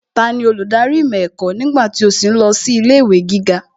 Tani olùdarí ìmọ̀ ẹ̀kọ́ nígbà tí ó sì ń lọ sí ilé ìwé gíga?